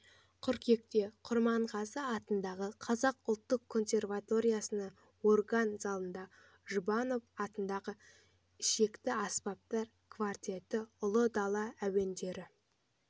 қыркүйекте құрманғазы атындағы қазақ ұлттық консерваториясының орган залында жұбанова атындағы ішекті аспаптар квартеті ұлы дала әуендері